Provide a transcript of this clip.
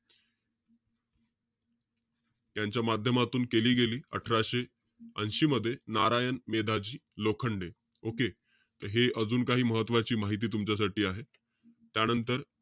त्यांच्या माध्यमातून केली गेलेली, अठराशे ऐशी मध्ये. नारायण मेधाजी लोखंडे. Okay. हे अजून काही महत्वाची माहिती तुमच्यासाठी आहे. त्यानंतर,